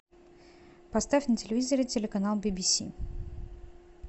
поставь на телевизоре телеканал би би си